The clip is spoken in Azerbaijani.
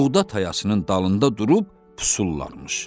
Buğda tayasının dalında durub pusurlarmış.